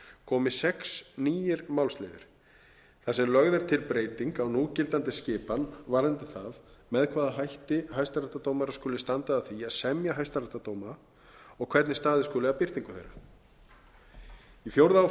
komi sex nýir málsliðir þar sem lögð er til breyting á núgildandi skipan varðandi það með hvaða hætti hæstaréttardómarar skuli standa að því að semja hæstaréttardóma og hvernig staðið skuli að birtingu þeirra í fjórða